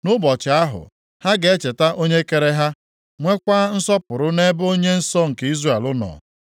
Nʼụbọchị ahụ, ha ga-echeta onye kere ha, nweekwa nsọpụrụ nʼebe Onye nsọ nke Izrel nọ.